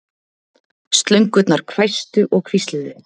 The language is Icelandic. Slöngurnar hvæstu og hvísluðu.